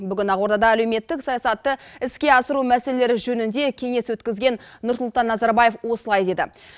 бүгін ақордада әлеуметтік саясатты іске асыру мәселелері жөнінде кеңес өткізген нұрсұлтан назарбаев осылай деді